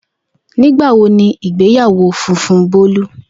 Nigbawo ni igbeyawo funfun Bolu?